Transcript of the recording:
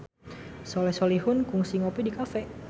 Soleh Solihun kungsi ngopi di cafe